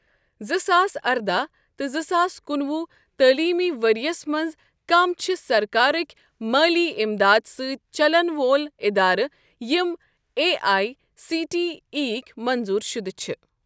زٕ ساس ارداہ تہ زٕ ساس کُنوُہ تعلیٖمی ورۍ یَس مَنٛز کم چھِ سرکار کہِ مٲلی امداد سٟتؠ چلن وٲلۍ ادارٕ یم A I C T E یٕک منظور شدٕ چھ؟